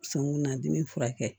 Senkunan dimi furakɛ